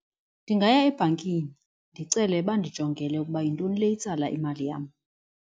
Ndingaya ebhankini ndicele bandijongele ukuba yintoni le itsala imali yam.